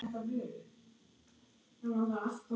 Hvíldu í friði, Anna mín.